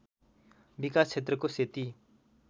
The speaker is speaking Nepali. विकास क्षेत्रको सेती